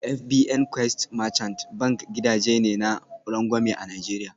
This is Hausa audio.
FBN Quest Merchant Bank gidaje ne na rangwame a Najeriya